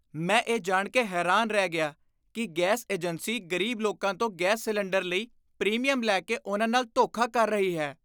ਮੈਂ ਇਹ ਜਾਣ ਕੇ ਹੈਰਾਨ ਰਹਿ ਗਿਆ ਕਿ ਗੈਸ ਏਜੰਸੀ ਗ਼ਰੀਬ ਲੋਕਾਂ ਤੋਂ ਗੈਸ ਸਿਲੰਡਰ ਲਈ ਪ੍ਰੀਮੀਅਮ ਲੈ ਕੇ ਉਨ੍ਹਾਂ ਨਾਲ ਧੋਖਾ ਕਰ ਰਹੀ ਹੈ।